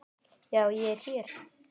Já, ég er hér.